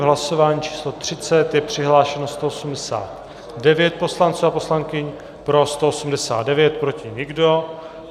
V hlasování číslo 30 je přihlášeno 189 poslanců a poslankyň, pro 189, proti nikdo.